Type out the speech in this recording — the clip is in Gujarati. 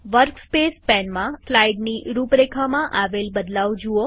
વર્કસ્પેસ પેનમાં સ્લાઈડની રૂપરેખામાં આવેલ બદલાવ જુઓ